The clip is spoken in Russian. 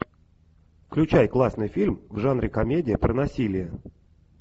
включай классный фильм в жанре комедия про насилие